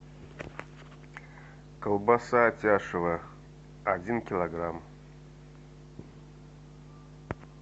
колбаса атяшево один килограмм